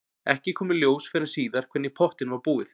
Ekki kom í ljós fyrr en síðar hvernig í pottinn var búið.